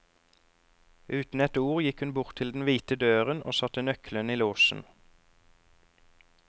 Uten et ord gikk hun bort til den hvite døren og satte nøkkelen i låsen.